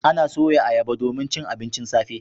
Ana soya ayaba domin cin abincin safe.